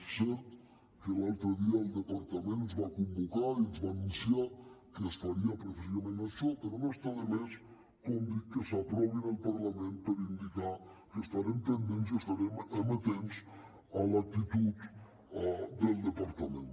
és cert que l’altre dia el departament ens va convocar i ens va anunciar que es faria precisament això però no està de més dir que s’aprovin al parlament per indicar que n’estarem pendents i estarem amatents a l’actitud del departament